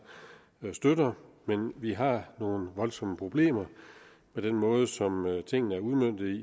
støtter men vi har nogle voldsomme problemer med den måde som tingene er udmøntet